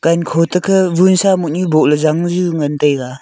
amkho tekhe vunsa mutnu boh ley janju ngan tega.